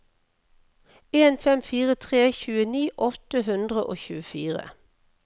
en fem fire tre tjueni åtte hundre og tjuefire